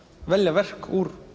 velja verk úr